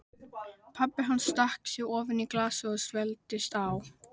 Pabbi hans stakk sér ofan í glasið og svelgdist á.